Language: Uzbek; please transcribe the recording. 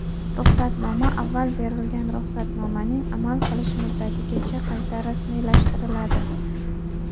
Ruxsatnoma avval berilgan ruxsatnomaning amal qilish muddatigacha qayta rasmiylashtiriladi.